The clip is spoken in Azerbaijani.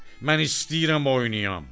Mən istəyirəm oynuyam.